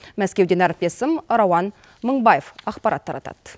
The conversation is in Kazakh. мәскеуден әріптесім рауан мыңбаев ақпарат таратады